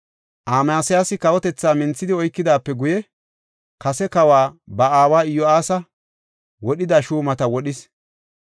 Amasiyaasi kawotethaa minthidi oykidaape guye, kase kawa, ba aawa Iyo7aasa wodhida shuumata wodhis.